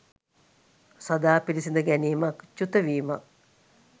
සදා පිළිසිඳ ගැනීමක්, චුතවීමක්